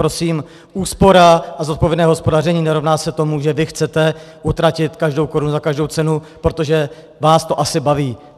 Prosím, úspora a zodpovědné hospodaření nerovná se tomu, že vy chcete utratit každou korunu za každou cenu, protože vás to asi baví.